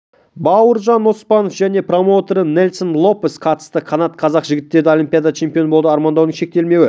бауыржан оспанов және промоутері нельсон лопес қатысты қанат қазақ жігіттері олимпиада чемпионы болуды армандаумен шектелмеуі